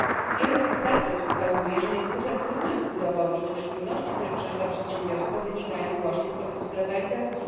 Wielu ekspertów wskazuje, że niezwykle trudno jest udowodnić, iż trudności, które przeżywa przedsiębiorstwo, wynikają właśnie z procesu globalizacji.